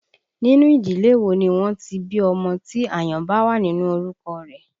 Nínú ìdílé wo ni wọ́n ti bí ọmọ tí àyàn bá wà nínú orúkọ rẹ̀?